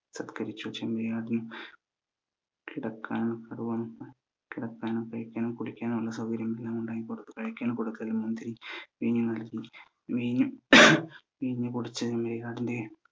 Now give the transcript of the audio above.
തത്കരിച്ചു ചെമ്മരിയാടിന് കിടക്കാന് കിടക്കാനും കഴിക്കാനും കുടിക്കാനും ഉള്ള സൗകര്യം എല്ലാം ഉണ്ടാക്കി കൊടുത്തു കഴിക്കാൻ കൊടുക്കൽ മുന്തിരി വീൻ നൽകി വീന് വീന് കുടിച് ചെമ്മരിയാടിന്റെ